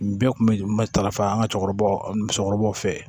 Nin bɛɛ kun bɛ tarafa an ka cɛkɔrɔbaw musokɔrɔbaw fɛ yen